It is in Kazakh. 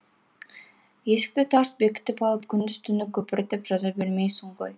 есікті тарс бекітіп алып күндіз түні көпіртіп жаза бермейсің ғой